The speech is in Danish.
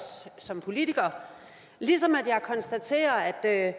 som politiker ligesom jeg konstaterer at